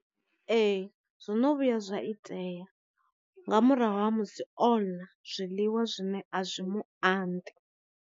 Ee zwono vhuya zwa itea, nga murahu ha musi oḽa zwiḽiwa zwine a zwi mu anḓi.